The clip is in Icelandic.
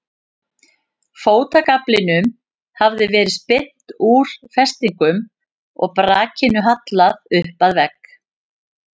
Fótagaflinum hafði verið spyrnt úr festingum og brakinu hallað upp að vegg.